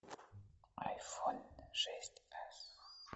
айфон шесть эс